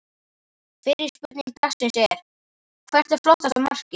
Fyrri spurning dagsins er: Hvert er flottasta markið?